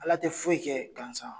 Ala te foyi kɛ gansan.